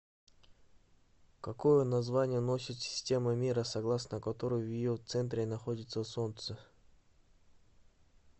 какое название носит система мира согласно которой в ее центре находится солнце